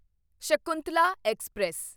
Shakuntala express